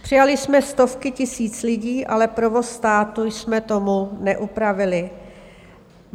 Přijali jsme stovky tisíc lidí, ale provoz státu jsme tomu neupravili.